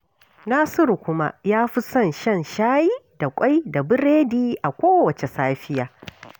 Nasiru kuma ya fi son shan shayi da burodi da ƙwai a kowacce safiya